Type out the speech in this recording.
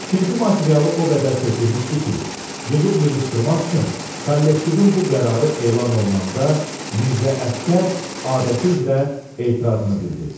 Tikinti materialı o qədər tökülmüşdü ki, yığıb-yığışdırmaq üçün kollektivin bu qərarı elan olunanda Mirzə Əsgər adəti üzrə etirazını bildirdi.